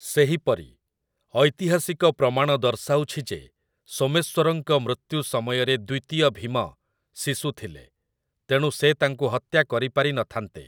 ସେହିପରି, ଐତିହାସିକ ପ୍ରମାଣ ଦର୍ଶାଉଛି ଯେ ସୋମେଶ୍ୱରଙ୍କ ମୃତ୍ୟୁ ସମୟରେ ଦ୍ୱିତୀୟ ଭୀମ ଶିଶୁ ଥିଲେ, ତେଣୁ ସେ ତାଙ୍କୁ ହତ୍ୟା କରି ପାରିନଥାନ୍ତେ ।